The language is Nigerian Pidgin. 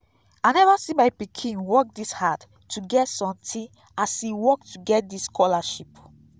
i never see my pikin work dis hard to get something as e work to get dis scholarship